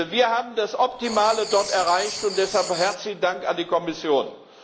Wir haben das Optimale dort erreicht, und deshalb herzlichen Dank an die Kommission.